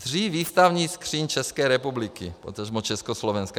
Dřív výstavní skříň České republiky, potažmo Československa.